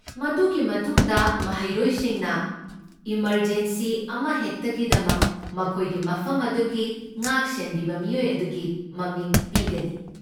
ꯃꯗꯨꯒꯤ ꯃꯇꯨꯡꯗ, ꯃꯍꯩꯔꯣꯏꯁꯤꯡꯅ ꯏꯃꯔꯖꯦꯟꯁꯤ ꯑꯃꯍꯦꯛꯇꯒꯤꯗꯃꯛ ꯃꯈꯣꯏꯒꯤ ꯃꯐꯝ ꯑꯗꯨꯒꯤ ꯉꯥꯛꯁꯦꯟꯕꯤꯕ ꯃꯤꯑꯣꯏ ꯑꯗꯨꯒꯤ ꯃꯃꯤꯡ ꯄꯤꯒꯅꯤ꯫